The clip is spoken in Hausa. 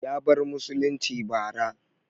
Ya bar musulunci bara